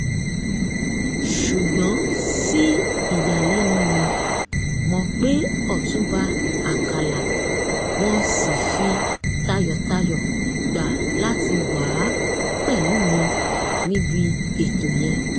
ṣùgbọ́n sí ìyàlẹ́nu mi mọ̀ pé ọ̀túnba àkàlà wọn ṣì fi tayọ̀tayọ̀ gbà láti wàá pẹ̀lú mi níbi ètò yẹn